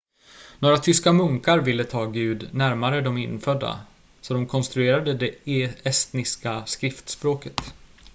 några tyska munkar ville ta gud närmare de infödda så de konstruerade det estniska skriftspråket